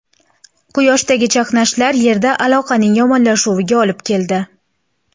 Quyoshdagi chaqnashlar Yerda aloqaning yomonlashuviga olib keldi.